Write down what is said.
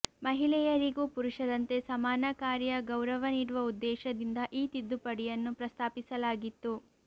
ಮಹಿಳೆಯರಿಗೂ ಪುರುಷರಂತೆ ಸಮಾನ ಕಾರ್ಯ ಗೌರವ ನೀಡುವ ಉದ್ದೇಶದಿಂದ ಈ ತಿದ್ದುಪಡಿಯನ್ನು ಪ್ರಸ್ತಾಪಿಸಲಾಗಿತ್ತು